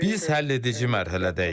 Biz həlledici mərhələdəyik.